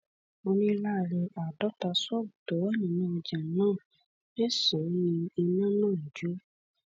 ó ní láàrin àádọta ṣọọbù tó wà nínú ọjà náà mẹsànán ni iná náà jó